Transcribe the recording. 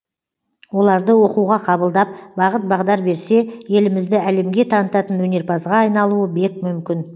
оларды оқуға қабылдап бағыт бағдар берсе елімізді әлемге танытатын өнерпазға айналуы бек мүмкін